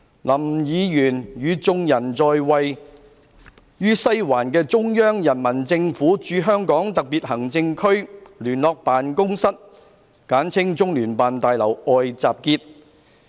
林議員與眾人在位於西環的中央人民政府駐香港特別行政區聯絡辦公室大樓外集結。